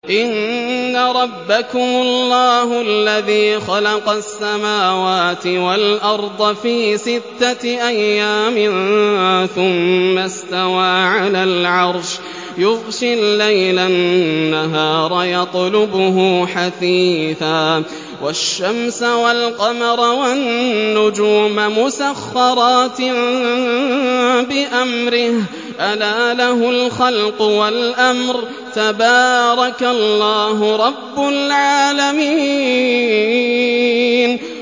إِنَّ رَبَّكُمُ اللَّهُ الَّذِي خَلَقَ السَّمَاوَاتِ وَالْأَرْضَ فِي سِتَّةِ أَيَّامٍ ثُمَّ اسْتَوَىٰ عَلَى الْعَرْشِ يُغْشِي اللَّيْلَ النَّهَارَ يَطْلُبُهُ حَثِيثًا وَالشَّمْسَ وَالْقَمَرَ وَالنُّجُومَ مُسَخَّرَاتٍ بِأَمْرِهِ ۗ أَلَا لَهُ الْخَلْقُ وَالْأَمْرُ ۗ تَبَارَكَ اللَّهُ رَبُّ الْعَالَمِينَ